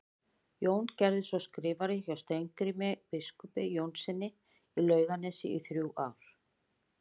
Jón gerðist svo skrifari hjá Steingrími biskupi Jónssyni í Laugarnesi í þrjú ár.